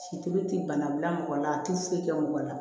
Situlu ti bana bila mɔgɔ la a ti foyi kɛ mɔgɔ la